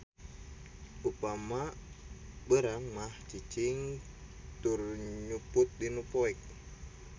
Upama beurang mah cicing tur nyumput dinu poek.